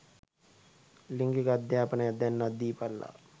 ලිංගික අධාපනයක් දැන්වත් දීපල්ලා.